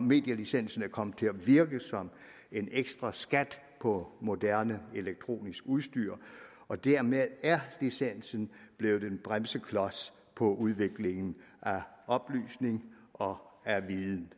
medielicensen er kommet til at virke som en ekstraskat på moderne elektronisk udstyr og dermed er licensen blevet en bremseklods for udviklingen af oplysning og viden